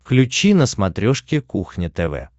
включи на смотрешке кухня тв